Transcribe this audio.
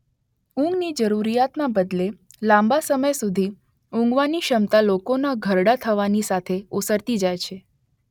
ઊંઘની જરૂરિયાતના બદલે લાંબા સમય સુધી ઊંઘવાની ક્ષમતા લોકોના ઘરડા થવાની સાથે ઓસરતી જાય છે.